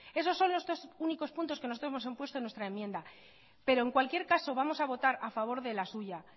esos son los dos únicos puntos que nosotros hemos puesto en nuestra enmienda pero en cualquier caso vamos a votar a favor de la suya